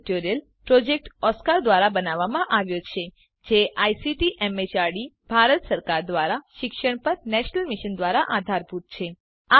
આ tutorial project Oscar ધ્વારા બનાવવામાં આવ્યો છે અને આઇસીટી એમએચઆરડી ભારત સરકાર દ્વારા શિક્ષણ પર નેશનલ મિશન દ્વારા આધારભૂત છે